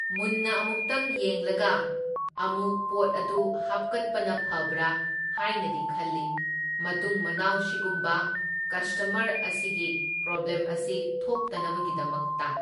ꯃꯨꯟꯅ ꯑꯃꯨꯛꯇꯪ ꯌꯦꯡꯂꯒ ꯑꯃꯨꯛ ꯄꯣꯠ ꯑꯗꯨ ꯍꯥꯞꯀꯠꯄꯅ ꯐꯕ꯭ꯔꯥ ꯍꯥꯢꯅꯗꯤ ꯈꯜꯂꯤ, ꯃꯇꯨꯡ ꯃꯅꯥꯎ ꯁꯤꯒꯨꯝꯕ ꯀꯁꯇꯃꯔ ꯑꯁꯤꯒꯤ ꯄ꯭ꯔꯣꯕ꯭ꯂꯦꯝ ꯑꯁꯤ ꯊꯣꯛꯇꯅꯕꯒꯤꯗꯃꯛꯇ꯫